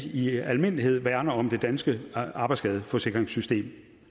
i almindelighed værner om det danske arbejdsskadeforsikringssystem